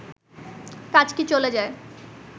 কাজটি চলে যায়